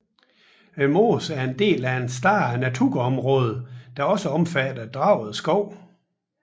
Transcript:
Mosen er en del af et større naturområde der også omfatter Draved Skov